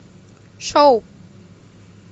шоу